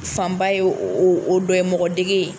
Fanba ye o dɔ ye, mɔgɔ dege .